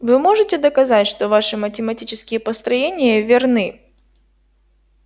вы можете доказать что ваши математические построения верны